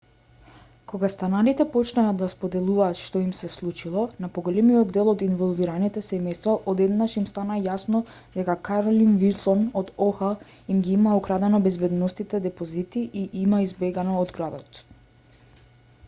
кога станарите почнаа да споделуваат што им се случило на поголемиот дел од инволвираните семејства одненадеж им стана јасно дека каролин вилсон од оха им ги има украдено безбедносните депозити и има избегано од градот